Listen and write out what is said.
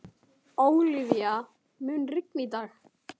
Ólafía, mun rigna í dag?